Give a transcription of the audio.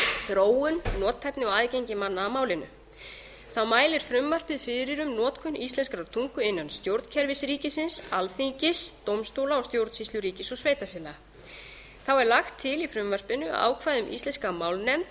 þróun nothæfni og aðgengi manna að málinu þá mælir frumvarpið fyrir um notkun íslenskrar tungu innan stjórnkerfis ríkisins alþingis dómstóla og stjórnsýslu ríkis og sveitarfélaga þá er lagt til í frumvarpinu að ákvæði um íslenska málnefnd